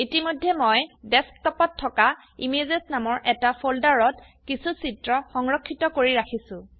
ইতিমধেয় মই ডেস্কটপত থকা ইমেজেছ নামৰ এটা ফোল্ডাৰত কিছু চিত্ৰ সংৰক্ষিত কৰি ৰাখিছো